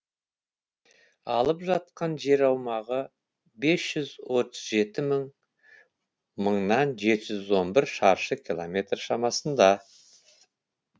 алып жатқан жер аумағы бес жүз отыз жеті мың мыңнан жеті жүз он бір шаршы километр шамасында